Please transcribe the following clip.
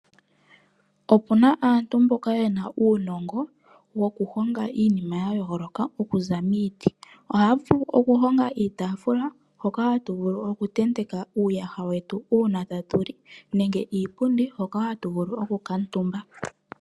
Opu na aantu mboka ye na uunongo wokuhonga iinima ya yooloka okuza miiti. Ohaya vulu okuhonga iitafula hoka hatu vulu okutendeka uuyaha wetu uuna tatu li nenge iipundi hoka hatu vulu okukala omutumba.